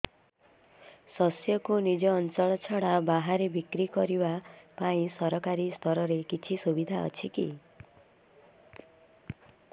ଶସ୍ୟକୁ ନିଜ ଅଞ୍ଚଳ ଛଡା ବାହାରେ ବିକ୍ରି କରିବା ପାଇଁ ସରକାରୀ ସ୍ତରରେ କିଛି ସୁବିଧା ଅଛି କି